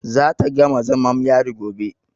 Za ta gama zamam yari gobe.